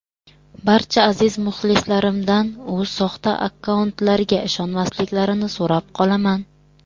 Barcha aziz muxlislarimdan u soxta akkauntlarga ishonmasliklarini so‘rab qolaman.